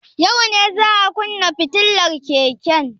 Yau ne za a kunne fitilar keken.